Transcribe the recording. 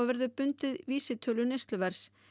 verður bundið vísitölu neysluverðs